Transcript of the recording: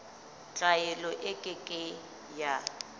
tlwaelo e ke ke ya